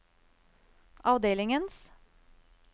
avdelingens